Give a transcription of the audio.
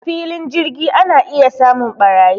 A filin jirgi ana iya samun ɓarayi